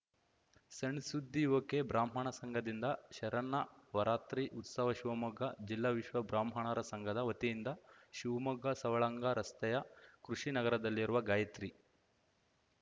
ಸಣ್‌ ಸುದ್ದಿ ಒಕೆಬ್ರಾಹ್ಮಣ ಸಂಘದಿಂದ ಶರನ್ನವರಾತ್ರಿ ಉತ್ಸವ ಶಿವಮೊಗ್ಗ ಜಿಲ್ಲಾ ವಿಶ್ವ ಬ್ರಾಹ್ಮಣರ ಸಂಘದ ವತಿಯಿಂದ ಶಿವ್ಮೊಗ್ಗ ಸವಳಂಗ ರಸ್ತೆಯ ಕೃಷಿನಗರದಲ್ಲಿರುವ ಗಾಯತ್ರಿ